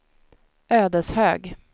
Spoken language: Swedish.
Ödeshög